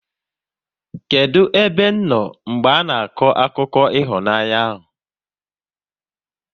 Kedụ ebe m nọ mgbe ana akọ akụkọ ịhụnanya ahụ?